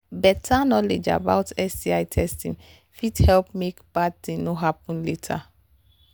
better knowledge about sti testing fit help make bad thing no happen later